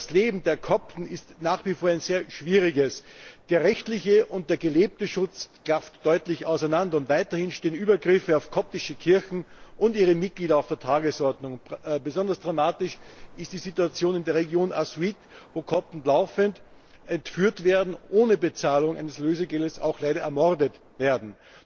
Das Leben der Kopten ist nach wie vor ein sehr schwieriges. Der rechtliche und der gelebte Schutz klaffen deutlich auseinander, und weiterhin stehen Übergriffe auf koptische Kirchen und ihre Mitglieder auf der Tagesordnung. Besonders dramatisch ist die Situation in der Region Assiut, wo Kopten laufend entführt werden, ohne Bezahlung eines Lösegeldes leider auch ermordet werden.